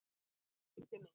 Það snerti mig.